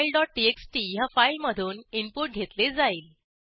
file dot TXT ह्या फाईलमधून input घेतले जाईल